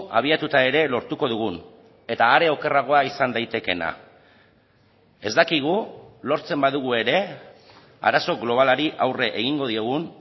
abiatuta ere lortuko dugun eta are okerragoa izan daitekeena ez dakigu lortzen badugu ere arazo globalari aurre egingo diogun